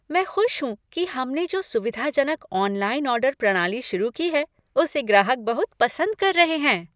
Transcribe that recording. मैं खुश हूँ कि हमने जो सुविधाजनक ऑनलाइन ऑर्डर प्रणाली शुरू की है, उसे ग्राहक बहुत पसंद कर रहे हैं।